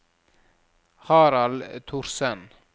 Harald Thorsen